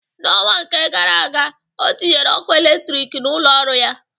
N'ọnwa nke gara aga, o tinyere ọkụ eletrik n'ụlọ ọrụ ya.